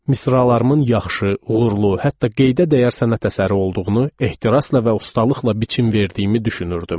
Misralarımın yaxşı, uğurlu, hətta qeydə dəyər sənət əsəri olduğunu ehtirasla və ustalıqla biçim verdiyimi düşünürdüm.